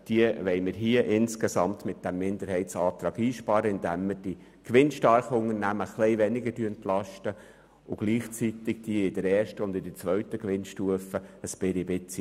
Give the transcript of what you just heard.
Mit diesem Minderheitsantrag wollen wir dies insgesamt einsparen, indem wir die gewinnstarken Unternehmen etwas weniger entlasten und diejenigen in der ersten und zweiten Gewinnstufe etwas mehr.